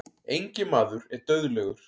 Enginn maður er dauðlegur.